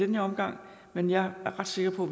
den her omgang men jeg er ret sikker på